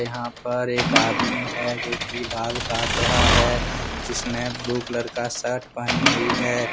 यहां पर एक आदमी है जो की बाल काट रहा है जिसने ब्लू कलर का शर्ट पहनी हुई है।